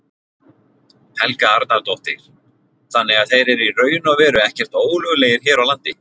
Helga Arnardóttir: Þannig að þeir eru í raun og veru ekkert ólöglegir hér á landi?